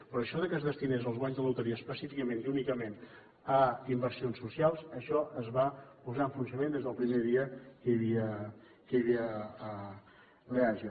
però això que es destinessin els guanys de la loteria específicament i únicament a inversions socials això es va posar en funcionament des del primer dia que hi havia l’eaja